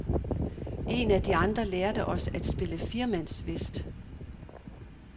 Én af de andre lærte os at spille firemandswhist.